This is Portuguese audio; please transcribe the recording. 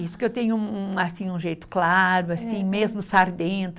Isso que eu tenho um um, assim um jeito claro assim, mesmo sardento.